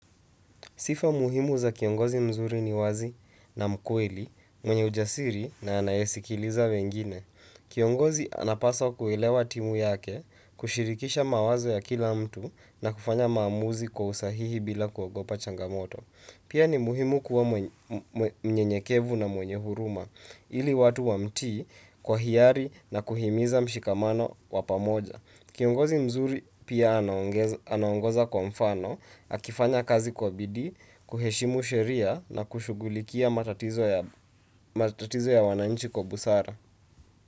Sifa muhimu za kiongozi mzuri ni wazi na mkweli, mwenye ujasiri na anayesikiliza wengine. Kiongozi anapasa kuelewa timu yake, kushirikisha mawazo ya kila mtu na kufanya maamuzi kwa usahihi bila kuogopa changamoto. Pia ni muhimu kuwa mnyenyekevu na mwenye huruma, ili watu wamtii kwa hiari na kuhimiza mshikamano wa pamoja. Kiongozi mzuri pia anaongoza kwa mfano, akifanya kazi kwa bidii, kuheshimu sheria na kushughulikia matatizo ya wananchi kwa busara.